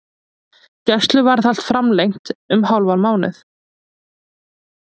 Gæsluvarðhald framlengt um hálfan mánuð